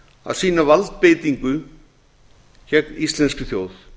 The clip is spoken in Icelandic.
að sýna valdbeitingu gegn íslenskri þjóð